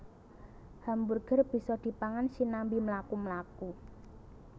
Hamburger bisa dipangan sinambi mlaku mlaku